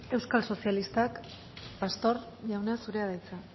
euskal sozialistak pastor jauna zurea da hitza